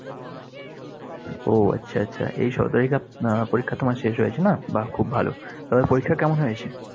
উহ আচ্ছা, আচ্ছা। এই সতেরো তারিখে আহ পরীক্ষা তোমার শেষ হয়েছে, না? বাহ, খুব ভালো। তবে পরীক্ষা কেমন হয়েছে?